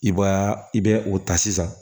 I b'a i bɛ o ta sisan